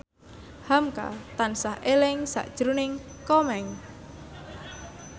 hamka tansah eling sakjroning Komeng